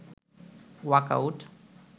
“walk out